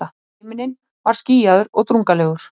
Himinninn var skýjaður og drungalegur.